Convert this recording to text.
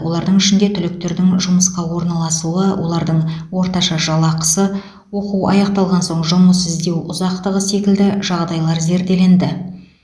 олардың ішінде түлектердің жұмысқа орналасуы олардың орташа жалақысы оқу аяқталған соң жұмыс іздеу ұзақтығы секілді жағдайлар зерделенді